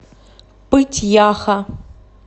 пыть яха